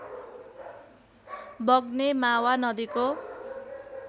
वग्ने मावा नदीको